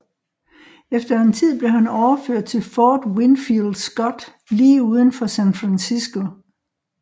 Efter en tid blev han overført til Fort Winfield Scott lige uden for San Francisco